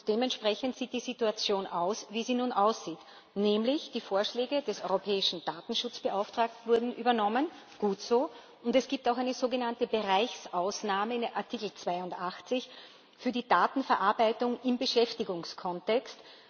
Dementsprechend sieht die Situation aus, wie sie nun aussieht, nämlich Die Vorschläge des Europäischen Datenschutzbeauftragten wurden übernommen gut so und es gibt auch eine sogenannte Bereichsausnahme in Artikel 82 für die Datenverarbeitung im Beschäftigungskontext.